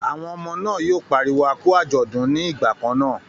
Àwọn ọmọ náà yóò pariwo a kú àjọ̀dún ní ìgbà kan náà.